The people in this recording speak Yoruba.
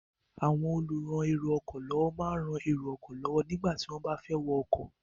Àwọn olùran èrò ọkọ̀ lọ́wọ́ máa ń rán èrò ọkọ̀ lọ́wọ́ nígbà tí wọ́n bá fẹ́ wọ ọkọ̀.